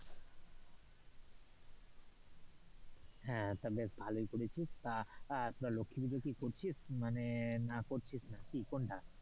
হ্যাঁ, তা বেশ ভালোই করেছিস তা লক্ষী পুজো কি করছিস মানে না করছিস না কোনটা,